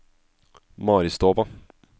Maristova